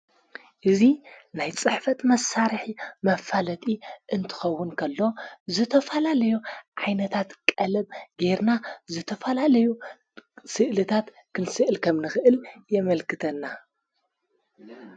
እዙ ናይ ጽሕፈት መሳርሒ መፋለጢ እንትኸውንከሎ ዝተፋላለዩ ዓይነታት ቀለም ጌርና ዝተፋላለዩ ስእልታት ክንስዕል ከም ንኽእል የመልክተና።